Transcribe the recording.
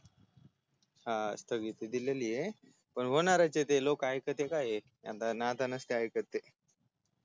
हा स्थगिती दिलेली य पण होणारयचय ते लोक ऐकतय काय आता नसते ऐकत ते